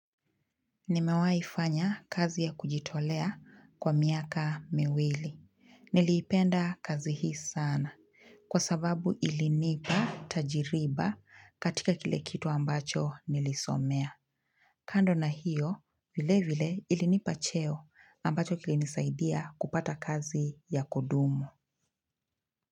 Nimewaifanya kazi ya kujitolea kwa miaka miwili. Niliipenda kazi hii sana kwa sababu ilinipa tajiriba katika kile kitu ambacho nilisomea. Kando na hiyo, vile vile ilinipa cheo ambacho kilinisaidia kupata kazi ya kudumu.